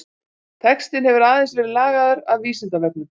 Textinn hefur aðeins verið lagaður að Vísindavefnum.